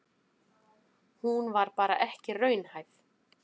Hún var bara ekki raunhæf.